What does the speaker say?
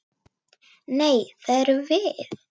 Nei, það erum við.